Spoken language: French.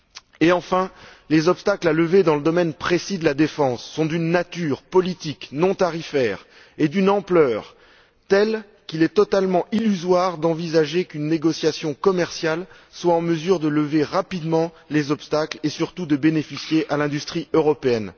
Et, enfin, les obstacles à lever dans le domaine précis de la défense sont d'une nature politique non tarifaire et d'une ampleur telles qu'il est totalement illusoire d'envisager qu'une négociation commerciale soit en mesure de lever rapidement les obstacles et surtout de profiter à l'industrie européenne.